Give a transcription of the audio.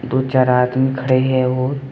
दो चार आदमी खड़े हैं वो--